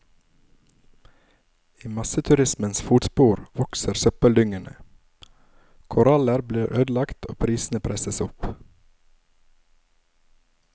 I masseturismens fotspor vokser søppeldyngene, koraller blir ødelagt og prisene presses opp.